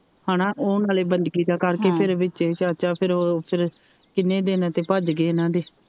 ਹੇਨਾ ਉਹ ਨਾਲੇ ਬੰਦਗੀ ਦਾ ਕਰਕੇ ਫਿਰ ਵਿਚੇ ਚਾਚਾ ਫਿਰ ਉਹ ਕਿਨ੍ਹੇ ਦਿਨ ਤਾ ਭੱਜ ਗਏ ਇਹ੍ਹਨਾਂ ਦੇ।